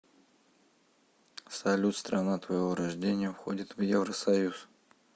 салют страна твоего рождения входит в евросоюз